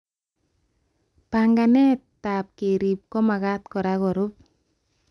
Banganetab kerib komagat kora kerub